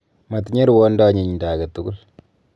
Matinye ruondo anyinydo age tugul.